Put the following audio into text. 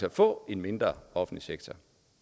at få en mindre offentlig sektor